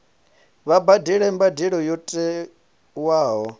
vha badele mbadelo yo tiwaho